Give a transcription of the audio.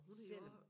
Selvom